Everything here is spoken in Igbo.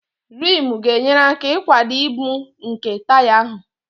Rimu ga-enyere aka ịkwado ibu nke taya ahụ